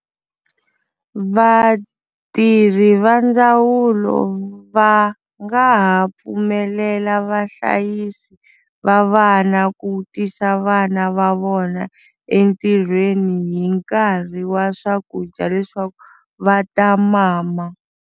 Vatirhi va ndzawulo va nga ha pfumelela vahlayisi va vana ku tisa vana va vona entirhweni hi nkarhi wa swakudya leswaku va ta mama.